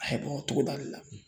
A ye bɔ togoda le la